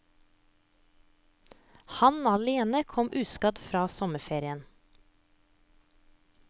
Han alene kom uskadt fra sommerferien.